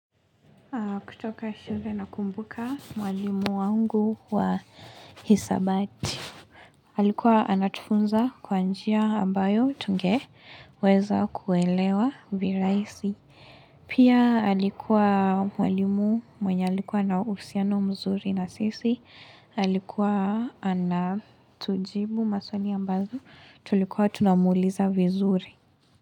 Kutoka shule nakumbuka mwalimu wangu wa hisabati. Alikuwa anatufunza kwa njia ambayo tungeweza kuelewa viraisi. Pia halikuwa mwalimu mwenye alikuwa na uhusiano mzuri na sisi. Alikuwa anatujibu maswali ambazo tulikuwa tunamuuliza vizuri.